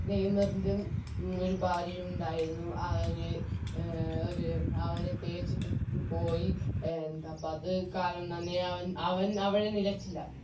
നെയ്‌മറിനും ഒരു ഭാര്യയുണ്ടായിരുന്നു അവര് അവര് അവനെ തേച്ചിട്ട് പ് പോയി ന്താപ്പോ അവൻ അവൾ നിലച്ചില്ല